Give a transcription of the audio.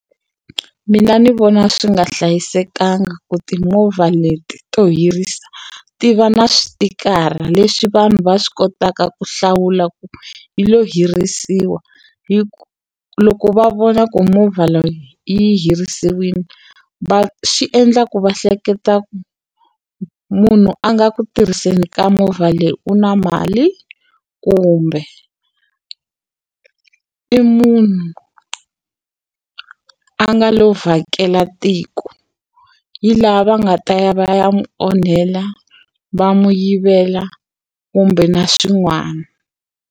Mina ni vona swi nga hlayisekanga ku timovha leti to hirisa ti va na switikara leswi vanhu va swi kotaka ku hlawula ku yi lo hirisiwa hi ku loko va vona ku movha leyi yi herisiwile va xi endla ku va hleketa ku munhu a nga ku tirhiseni ka movha leyi u na mali kumbe i munhu a nga lo vhakela tiko hi laha va nga ta ya va ya n'wi onhela va n'wi yivela kumbe na swin'wana.